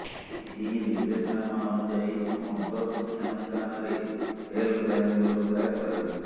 ଏହି ନିର୍ଦ୍ଦେଶନାମା ଅନୁଯାୟୀ ସମସ୍ତ ଶିକ୍ଷାନୁଷ୍ଠାନରେ ହେଲ୍ପଲାଇନ୍ ବ୍ୟବସ୍ଥା କରାଯିବ